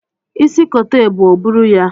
Isi kote ebu, o buru ya!